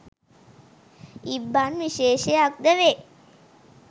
ඉබ්බන් විශේෂක් ද වේ